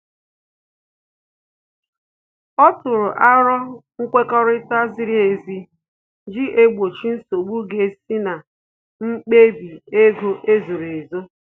Ọ tụrụ arọ nkwekọrịta ziri ezi iji gbochie nsogbu ga esi na mkpebi ego ezoro ezo